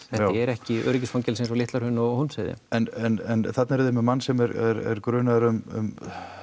er ekki öryggisfangelsi eins og Litla Hraun og Hólmsheiðin en þarna eruð þið með mann sem er grunaður um